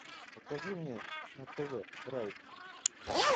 покажи мне на тв драйв